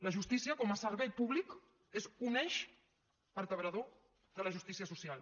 la justícia com a servei públic és un eix vertebrador de la justícia social